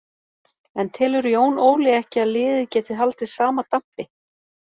En telur Jón Óli ekki að liðið geti haldið sama dampi?